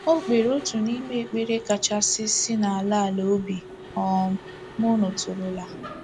O kpere otu n’ime ekpere kachasị si n’ala ala obi um m nụtụrụla.